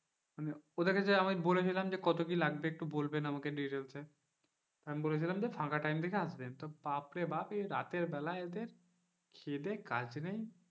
ওদেরকে আমি বলেছিলাম যে কত কি লাগবে একটু বলবেন আমাকে details এ আমি বলেছিলাম যে ফাঁকা time দেখে আসবেন তো বাপরে বাপ এ রাতেরবেলা এদের খেয়ে দিয়ে কাজ নেই,